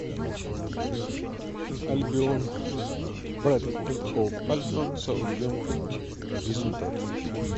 альбион брайтон энд хоув альбион саутгемптон результаты